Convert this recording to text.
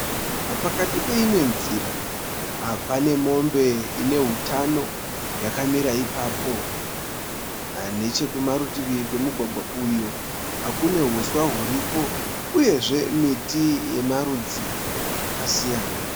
Pakati peimwe nzira. Pane mombe ine hutano yakamira ipapo. Nechekumarutivi kwemugwagwa uyu kune huswa huripo uyezve miti yemarudzi akasiyana.